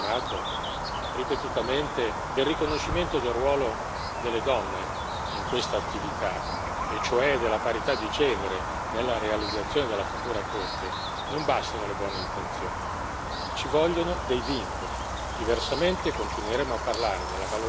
Aggiungo che anche per quanto concerne il tema richiamato ripetutamente del riconoscimento del ruolo delle donne in questa attività, e cioè della parità di genere nella realizzazione della futura Corte, non bastano le buone intenzioni, ci vogliono dei vincoli.